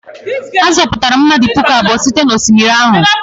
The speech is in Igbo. A zọpụtara mmadụ puku abụọ site n'osimiri ahụ?